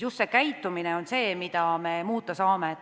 Just käitumine on see, mida me muuta saame.